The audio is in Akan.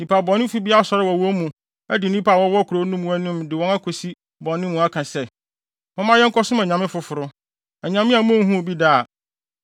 nnipa bɔnefo bi asɔre wɔ wɔn mu adi nnipa a wɔwɔ kurow no mu anim de wɔn akosi bɔne mu aka se, “Momma yɛnkɔsom anyame afoforo,” anyame a munhuu bi da a,